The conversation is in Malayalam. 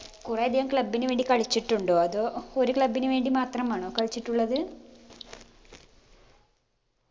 കുറേ അധികം club ന് വേണ്ടി കളിച്ചിട്ടുണ്ടോ അതോ ഒരു club ന് വേണ്ടി മാത്രമാണോ കളിച്ചിട്ടുള്ളത്